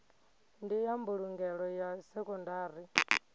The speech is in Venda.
ndi ya mbulungelo ya sekondari